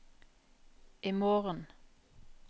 imorgen